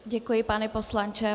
Děkuji, pane poslanče.